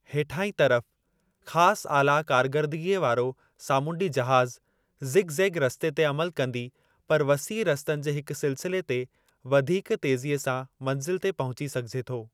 हेठाहीं तरफ़, ख़ासि आला कारकरदगीअ वारो सामूंडी जहाज़, ज़िग-ज़ेग रस्ते ते अमलु कंदी पर वसीअ रस्तनि जे हिक सिलसिले ते वधीक तेज़ीअ सां मंज़िल ते पहुची सघिजे थो।